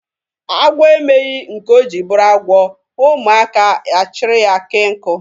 Agwọ emeghị nke o jiri bụrụ agwọ, ụmụaka a chịrị ya kee nkụ.